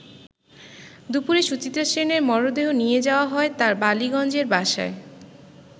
দুপুরে সুচিত্রা সেনের মরদেহ নিয়ে যাওয়া হয় তার বালিগঞ্জের বাসায়।